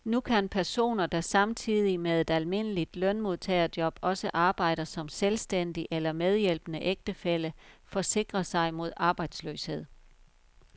Nu kan personer, der samtidig med et almindeligt lønmodtagerjob også arbejder som selvstændig eller medhjælpende ægtefælle, forsikre sig mod arbejdsløshed.